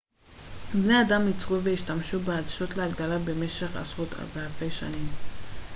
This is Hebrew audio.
בני אדם ייצרו והשתמשו בעדשות להגדלה במשך עשרות ואלפי שנים